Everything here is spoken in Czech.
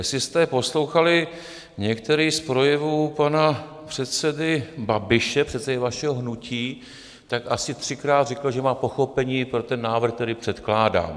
Jestli jste poslouchali některý z projevů pana předsedy Babiše, předsedy vašeho hnutí, tak asi třikrát řekl, že má pochopení pro ten návrh, který předkládám.